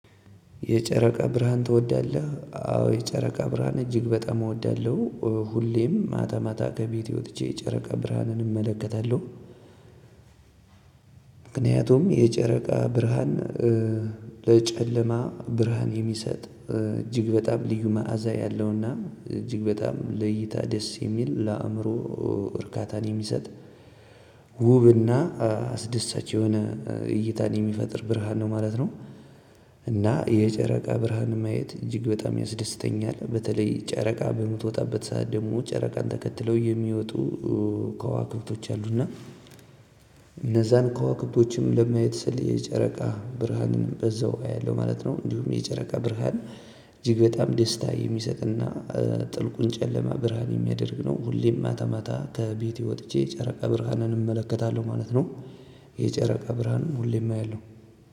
የጨረቃ ብርሃን ትወዳለህ? አዎ የጨረቃ ብርሃን እጅግ በጣም እወዳለሁ ሁሌም ማታ ማታ ከቤቴ ወጥቼ የጨረቃ ብርሃንን እመለከታለሁ ምክንያቱም የጨረቃ ብርሃን ለጨለማ ብርሃን የሚሰጥ እጅግ በጣም ልዩ መዓዛ ያለውና እጅግ በጣም ለእይታ ደስ የሚል ለአእምሮ እርካታን የሚሰጥ ውብና አስደሳች የሆነ እይታን የሚፈጥር ብርሃን ነው ማለት ነው። እና የጨረቃ ብርሃን ማየት እጅግ በጣም ያስደስተኛል በተለይ ጨረቃ በምትወጣበት ሰዓት ደግሞ ጨረቃን ተከትለው የሚወጡ ከዋክብቶች አሉና እነዛን ከዋክብቶችም ለማየት ስል የጨረቃ ብርሃንን በዛው አያለሁ ማለት ነው። እንዲሁም የጨረቃ ብርሃን እጅግ በጣም ደስታ የሚሰጥና ጥልቁን ጨለማ ብርሃን የሚያደርግ ነው። ሁሌም ማታ ማታ ከቤቴ ወጥቼ ጨረቃ ብርሃንን እመለከታለሁ ማለት ነው። የጨረቃ ብርሃን ሁሌም አያለሁ